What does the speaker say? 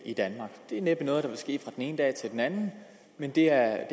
i danmark det er næppe noget der vil ske fra den ene dag til den anden men det er